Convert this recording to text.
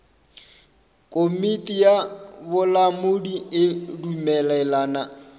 komiti ya bolamodi e dumelelana